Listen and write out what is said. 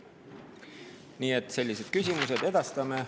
Nii et sellised küsimused edastame.